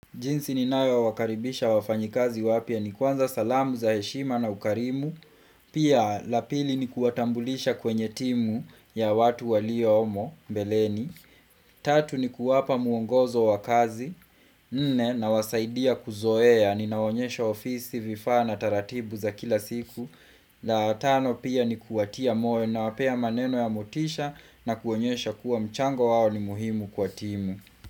Jinsi ni nayowakaribisha wafanyikazi wapya ni kwanza salamu za heshima na ukarimu Pia la pili ni kuatambulisha kwenye timu ya watu waliyohomo mbeleni Tatu ni kuwapa mwongozo wakazi Nne na wasaidia kuzoea ni naonyesha ofisi vifaa na taratibu za kila siku. La tano pia ni kuatia moyo niwapea maneno ya motisha na kuonyesha kuwa mchango wao ni muhimu kwa timu.